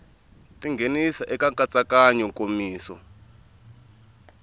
ti nghenisa eka nkatsakanyo nkomiso